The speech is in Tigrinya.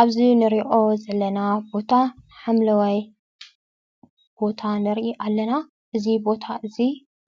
ኣብዚ ንሪኦ ዘለና ቦታ ሓምለዋይ ቦታ ንሪኢ ኣለና። እዚ ቦታ እዚ